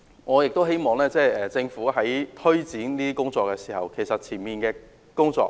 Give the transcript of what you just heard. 我亦希望政府在推展這些工作時，先做好前期的工作。